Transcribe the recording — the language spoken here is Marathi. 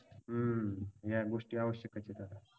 हम्म या गोष्टी आवश्यकच आहेत.